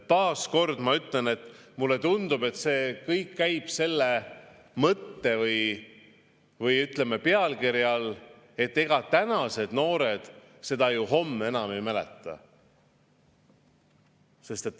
Ja ma ütlen taas, mulle tundub, et see kõik käib selle mõtte või, ütleme, pealkirja alla, et ega tänased noored seda ju homme enam ei mäleta.